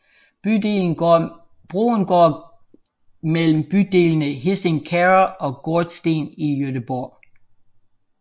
Broen går mellem bydelene Hisings Kärra og Gårdsten i Göteborg